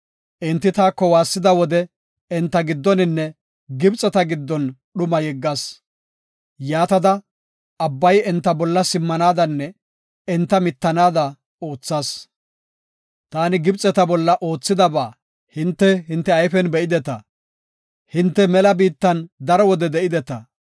Enti taako waassida wode enta giddoninne Gibxeta giddon dhumaa yeggas. Yaatada, abbay enta bolla simmanaadanne enta mittanaada oothas. Taani Gibxeta bolla oothidaba hinte hinte ayfen be7ideta. Hinte mela biittan daro wode de7ideta.